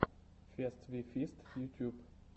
фест ви фист ютюб